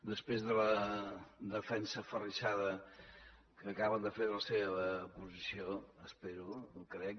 després de la defensa aferrissada que acaben de fer de la seva posició espero o crec